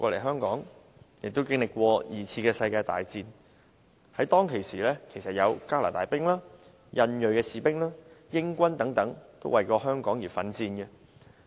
香港經歷過第二次世界大戰，當時有加拿大兵、印裔士兵、英軍等為香港奮戰。